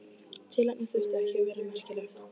Tilefnið þurfti ekki að vera merkilegt.